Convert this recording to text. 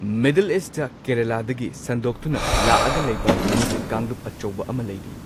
Middle east ꯀꯦꯔꯂꯥꯗꯒꯤ ꯁꯟꯗꯣꯛꯇꯨꯅ ꯂꯥꯛꯑꯒ ꯂꯩꯕ ꯃꯤꯒꯤ ꯀꯥꯡꯂꯨꯞ ꯑꯆꯧꯕ ꯑꯃ ꯂꯩꯔꯤ꯫